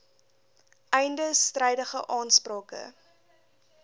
einde strydige aansprake